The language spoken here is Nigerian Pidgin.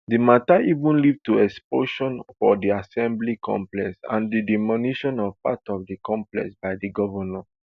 di matter even lead to explosion for di assembly complex and di demolition of part of di complex by di govnor